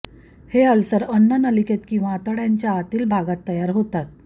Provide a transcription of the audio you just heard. हे अल्सर अन्न नलिकेत किंवा आतड्यांच्या आतील भागांत तयार होतात